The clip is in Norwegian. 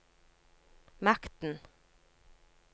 makten